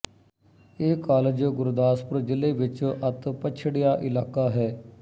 ਇਹ ਕਾਲਜ ਗੁਰਦਾਸਪੁਰ ਜ਼ਿਲ੍ਹੇ ਵਿੱਚ ਅਤਿ ਪਛੜਿਆ ਇਲਾਕਾ ਹੈ